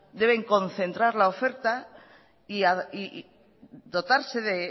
deben concentrar la oferta y dotarse de